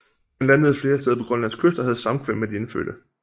Han landede flere steder på Grønlands kyst og havde samkvem med de indfødte